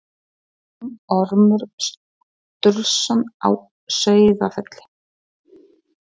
Nágranni þinn, Ormur Sturluson á Sauðafelli.